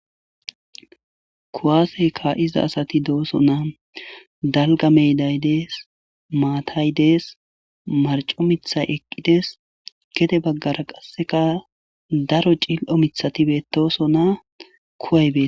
Kuwase kaizza asati dosona dalga meday dessi maatay dessi marcco miththay eqqides gedde baggera qaseka daro cilo miththati betosona kuway bettes.